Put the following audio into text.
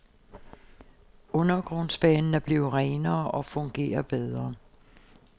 Undergrundsbanen er blevet renere og fungerer bedre.